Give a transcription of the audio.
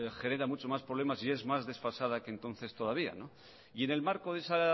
genera muchos más problemas y es más desfasada que entonces todavía y en el marco de esa